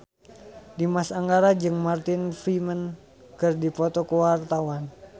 Dimas Anggara jeung Martin Freeman keur dipoto ku wartawan